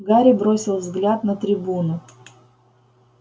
гарри бросил взгляд на трибуну